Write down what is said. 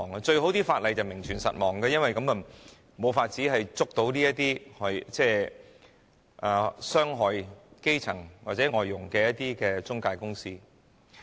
對他們來說，法例最好名存實亡，因為這樣便無法控告這些傷害基層或外傭的中介公司。